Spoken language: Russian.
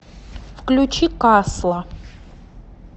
включи касла